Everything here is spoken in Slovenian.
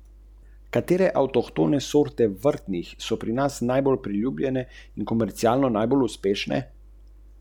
Če pa časopisov in revij niti ne prelistate, je najbrž čas, da odpoveste naročnino.